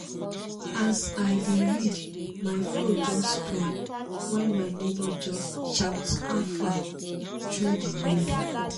as i dey read my flow just spoil when my neighbor just shout 'how far' through the window